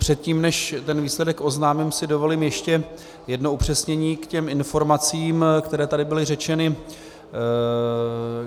Předtím než ten výsledek oznámím, si dovolím ještě jedno upřesnění k těm informacím, které tady byly řečeny.